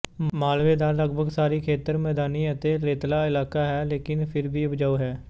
ਮਾਲਵੇਂ ਦਾ ਲਗਭਗ ਸਾਰਾ ਖੇਤਰ ਮੈਦਾਨੀ ਅਤੇ ਰੇਤਲਾ ਇਲਾਕਾ ਹੈ ਲੇਕਿਨ ਫਿਰ ਵੀ ਉਪਜਾਊ ਹੈ